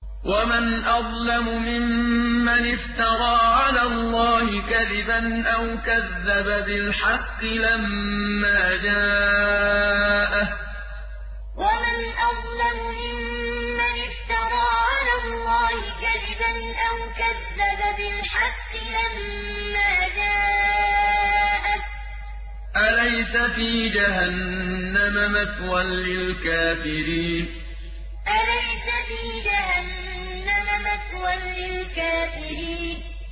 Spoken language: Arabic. وَمَنْ أَظْلَمُ مِمَّنِ افْتَرَىٰ عَلَى اللَّهِ كَذِبًا أَوْ كَذَّبَ بِالْحَقِّ لَمَّا جَاءَهُ ۚ أَلَيْسَ فِي جَهَنَّمَ مَثْوًى لِّلْكَافِرِينَ وَمَنْ أَظْلَمُ مِمَّنِ افْتَرَىٰ عَلَى اللَّهِ كَذِبًا أَوْ كَذَّبَ بِالْحَقِّ لَمَّا جَاءَهُ ۚ أَلَيْسَ فِي جَهَنَّمَ مَثْوًى لِّلْكَافِرِينَ